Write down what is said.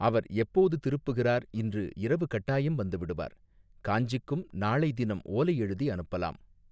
அவர் எப்போது திருப்புகிறார் இன்று இரவு கட்டாயம் வந்துவிடுவார் காஞ்சிக்கும் நாளை தினம் ஓலை எழுதி அனுப்பலாம்.